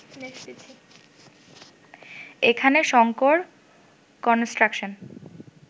এখানে শঙ্কর কনস্ট্রাকশন